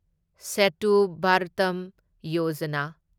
Setu Bharatam Yojana